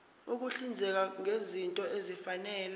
ukuhlinzeka ngezinto ezifanele